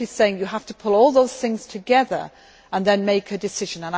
I am simply saying that you have to pull all those things together and then make a decision.